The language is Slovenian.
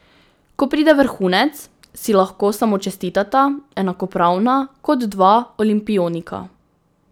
Ko pride vrhunec, si lahko samo čestitata, enakopravna kot dva olimpionika.